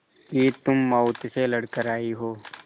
कि तुम मौत से लड़कर आयी हो